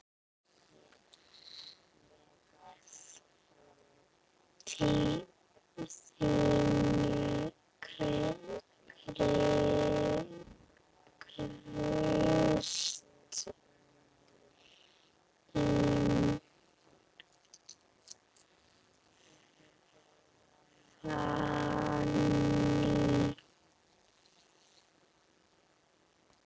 Þín, Kristín Fanný.